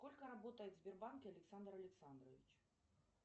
сколько работает в сбербанке александр александрович